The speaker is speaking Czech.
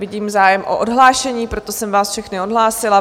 Vidím zájem o odhlášení, proto jsem vás všechny odhlásila.